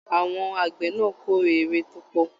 Àwọn àgbẹ náà k'ore ewé tópọ̀.